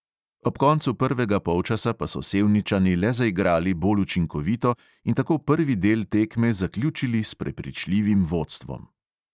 Ob koncu prvega polčasa pa so sevničani le zaigrali bolj učinkovito in tako prvi del tekme zaključili s prepričljivim vodstvom.